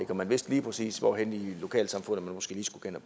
vidste lige præcis hvor i lokalsamfundet man måske lige skulle